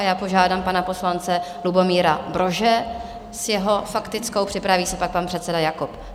A já požádám pana poslance Lubomíra Brože s jeho faktickou, připraví se pak pan předseda Jakob.